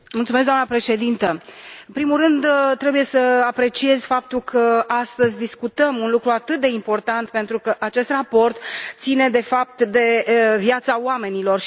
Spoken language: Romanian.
Doamnă președintă, în primul rând, trebuie să apreciez faptul că astăzi discutăm un lucru atât de important, pentru că acest raport ține, de fapt, de viața oamenilor.